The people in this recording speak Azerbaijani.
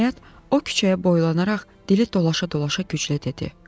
Nəhayət, o küçəyə boylanaraq dili dolaşa-dolaşa güclə dedi: